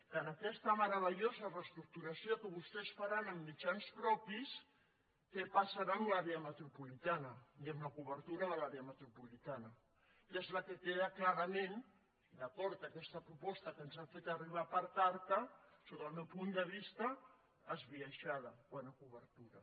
que en aquesta meravellosa reestructuració que vostès faran amb mitjans propis què passarà amb l’àrea metropolitana i amb la cobertura de l’àrea metropolitana que és la que queda clarament d’acord amb aquesta proposta que ens han fet arribar per carta sota el meu punt de vista esbiaixada quant a cobertura